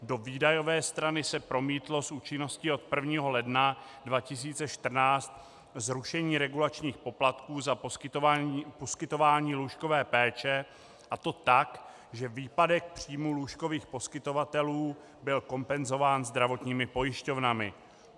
Do výdajové strany se promítlo s účinností od 1. ledna 2014 zrušení regulačních poplatků za poskytování lůžkové péče, a to tak, že výpadek příjmů lůžkových poskytovatelů byl kompenzován zdravotními pojišťovnami.